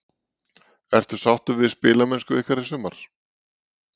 Ertu sáttur við spilamennsku ykkar í sumar?